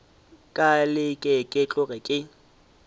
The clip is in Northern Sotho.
ka leke ke tloge ke